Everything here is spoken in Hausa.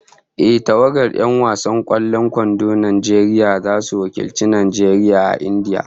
Ehh, tawagar 'yan wasan kwallon kwandon Najeriya zasu wakilci Najeriya a India